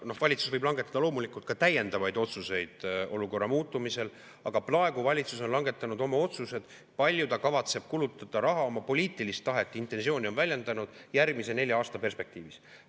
Noh, valitsus võib langetada loomulikult ka täiendavaid otsuseid olukorra muutumise korral, aga praegu valitsus on langetanud oma otsused, kui palju ta kavatseb kulutada raha – oma poliitilist tahet, intentsiooni on ta väljendanud – järgmise nelja aasta perspektiivis.